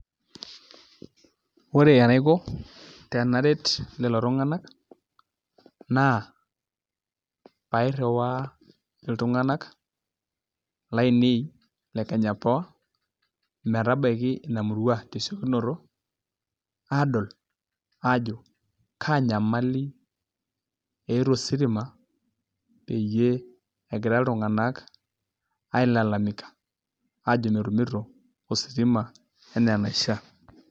Ore enaiko tenaret lelo tung'anak naa pairriwaa iltung'anak laainei e Kenya power metabaiki ina murua tesiokinoto aadol ajo kaa nyamali eeta ositima peyie egira iltung'anak ailalamika ajo metumito ositima enaa enaishiaa.